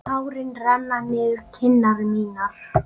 Tárin renna niður kinnar mínar.